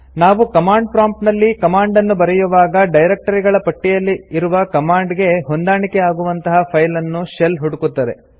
ನಾವು command prompt ನಲ್ಲಿ command ನ್ನು ಬರೆಯುವಾಗ ಡೈರೆಕ್ಟರಿಗಳ ಪಟ್ಟಿಯಲ್ಲಿ ಇರುವ ಕಮಾಂಡ್ ಗೆ ಹೊಂದಾಣಿಕೆ ಆಗುವಂತಹ ಫೈಲ್ ಅನ್ನು ಶೆಲ್ ಹುಡುಕುತ್ತದೆ